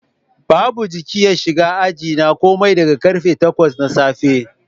Babu jiki ya shiga ajina komai daga karfe 8 na safe